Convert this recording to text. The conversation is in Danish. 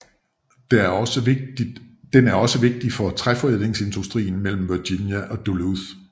Den er også vigtig for træforædlingsindustrien mellem Virginia og Duluth